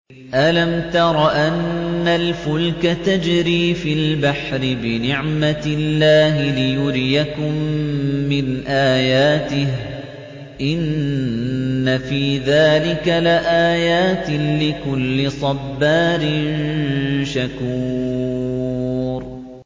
أَلَمْ تَرَ أَنَّ الْفُلْكَ تَجْرِي فِي الْبَحْرِ بِنِعْمَتِ اللَّهِ لِيُرِيَكُم مِّنْ آيَاتِهِ ۚ إِنَّ فِي ذَٰلِكَ لَآيَاتٍ لِّكُلِّ صَبَّارٍ شَكُورٍ